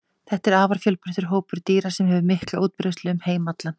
Þetta er afar fjölbreyttur hópur dýra sem hefur mikla útbreiðslu um heim allan.